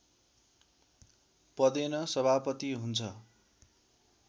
पदेन सभापति हुन्छ